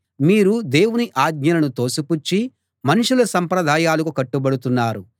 మీరు దేవుని ఆజ్ఞలను తోసిపుచ్చి మనుషుల సంప్రదాయాలకు కట్టుబడుతున్నారు